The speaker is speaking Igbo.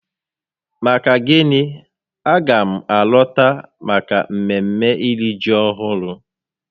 Maka gịnị? a ga m alọta maka mmemme iri ji ọhụrụ